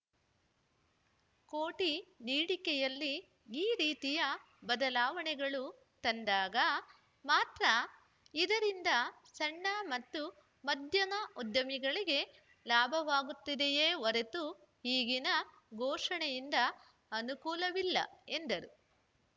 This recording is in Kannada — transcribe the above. ಕೋಟಿ ನೀಡಿಕೆಯಲ್ಲಿ ಈ ರೀತಿಯ ಬದಲಾವಣೆಗಳು ತಂದಾಗ ಮಾತ್ರ ಇದರಿಂದ ಸಣ್ಣ ಮತ್ತು ಮಧ್ಯಮ ಉದ್ಯಮಗಳಿಗೆ ಲಾಭವಾಗುತ್ತದೆಯೇ ಹೊರತು ಈಗಿನ ಘೋಷಣೆಯಿಂದ ಅನುಕೂಲವಿಲ್ಲ ಎಂದರು